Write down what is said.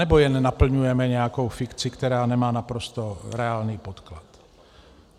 Anebo jen naplňujeme nějakou fikci, která nemá naprosto reálný podklad?